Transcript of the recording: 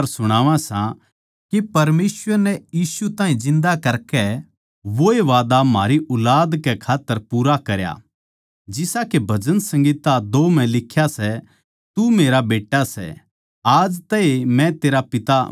के परमेसवर नै यीशु ताहीं जिन्दा करकै वोए वादा म्हारी ऊलाद कै खात्तर पूरा करया जिसा के भजन संहिता दो म्ह लिख्या सै तू मेरा बेट्टा सै आज मन्नै ए तेरै ताहीं पैदा करया सै